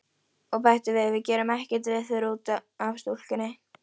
Og bætti við: Við gerum ekkert veður út af stúlkunni.